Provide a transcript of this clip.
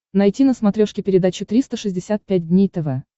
найти на смотрешке передачу триста шестьдесят пять дней тв